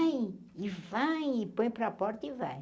e vai, e põe para a porta e vai.